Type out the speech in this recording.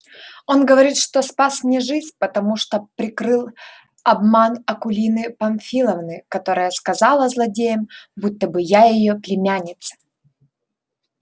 он говорит что спас мне жизнь потому что прикрыл обман акулины памфиловны которая сказала злодеям будто бы я её племянница